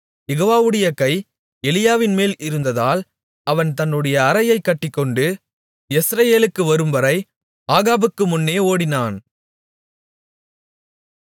யெகோவாவுடைய கை எலியாவின்மேல் இருந்ததால் அவன் தன்னுடைய அரையைக் கட்டிக்கொண்டு யெஸ்ரயேலுக்கு வரும்வரை ஆகாபுக்கு முன்னே ஓடினான்